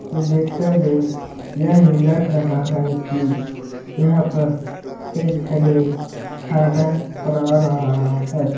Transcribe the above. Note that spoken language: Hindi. और देखने में यह लग रहा है की यहाँ पर एक झने खाना बना रहा है।